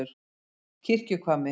Kirkjuhvammi